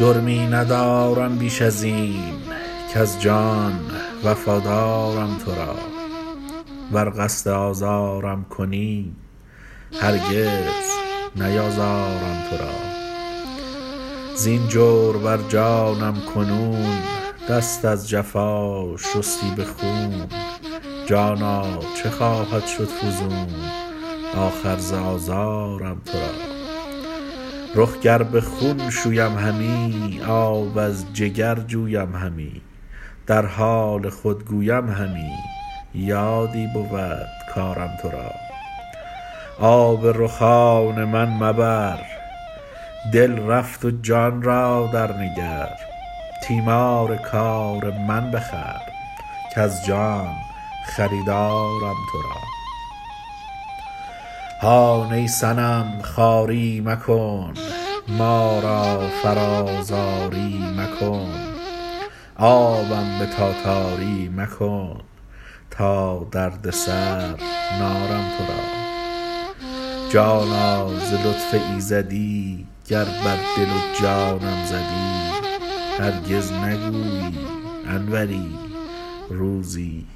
جرمی ندارم بیش از این کز جان وفادارم تو را ور قصد آزارم کنی هرگز نیازارم تو را زین جور بر جانم کنون دست از جفا شستی به خون جانا چه خواهد شد فزون آخر ز آزارم تو را رخ گر به خون شویم همی آب از جگر جویم همی در حال خود گویم همی یادی بود کارم تو را آب رخان من مبر دل رفت و جان را درنگر تیمار کار من بخور کز جان خریدارم تو را هان ای صنم خواری مکن ما را فرا زاری مکن آبم به تاتاری مکن تا دردسر نارم تو را جانا ز لطف ایزدی گر بر دل و جانم زدی هرگز نگویی انوری روزی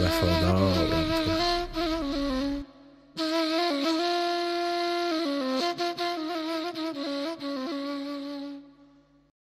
وفادارم تو را